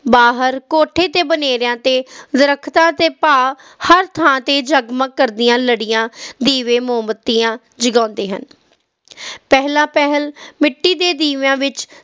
ਬਾਹਰ ਕੋਠੇ ਤੇ ਬਨੇਰਿਆਂ ਤੇ ਦਰਖਤਾਂ ਤੇ ਭਾਵ ਹਰ ਥਾਂ ਤੇ ਜਗਮਗ ਕਰਦੇ ਲੜੀਆਂ ਦੀਵੇ ਮੋਮਬੱਤੀਆਂ ਜਗਾਉਂਦੇ ਹਨ ਪਹਿਲਾਂ ਪਹਿਲ ਮਿੱਟੀ ਦੇ ਦੀਵਿਆਂ ਵਿਚ